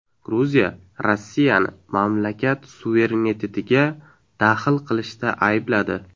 Gruziya Rossiyani mamlakat suverenitetiga daxl qilishda aybladi.